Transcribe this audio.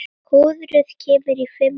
Í þriðju tilraun gekk betur.